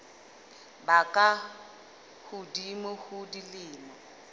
ba ka hodimo ho dilemo